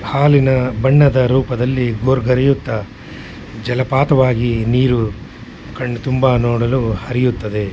ಹಾಲಿನ ಬಣ್ಣದ ರೂಪದಲ್ಲಿ ಭೋರ್ಗರೆಯುತ್ತ ಜಲಪಾತವಾಗಿ ನೀರು ಕಣ್ ತುಂಬಾ ನೋಡಲು ಹರಿಯುತ್ತದೆ.